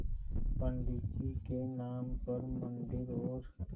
पंडित जी के नाम पर मन्दिर और